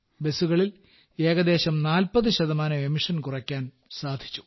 ബസ്സുകളിൽ ഏകദേശം 40 ശതമാനം പുറന്തള്ളൽ കുറയ്ക്കാൻ സാധിച്ചു